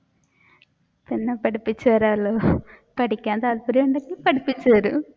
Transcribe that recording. പിന്നെ പഠിപ്പിച്ചു തരാലോ പഠിക്കാൻ താല്പര്യമുണ്ടെങ്കിൽ പഠിപ്പിച്ചു തരും.